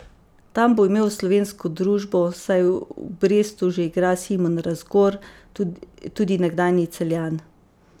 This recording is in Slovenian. Tam bo imel slovensko družbo, saj v Brestu že igra Simon Razgor, tudi nekdanji Celjan.